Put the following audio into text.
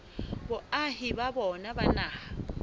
boahi ba bona ba naha